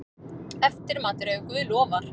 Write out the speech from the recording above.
Eftirmatur, ef guð lofar.